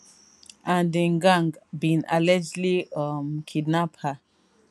and im gang bin allegedly um kidnap her